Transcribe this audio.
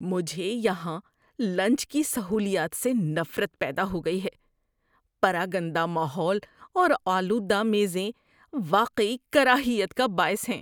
مجھے یہاں لنچ کی سہولیات سے نفرت پیدا ہو گئی ہے – پراگندہ ماحول اور آلودہ میزیں واقعی کراہیت کا باعث ہیں